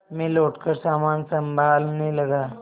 मैं लौटकर सामान सँभालने लगा